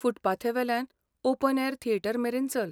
फुटपाथावेल्यान open air theatre मेरेन चल.